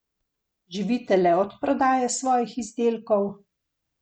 Živite le od prodaje svojih izdelkov?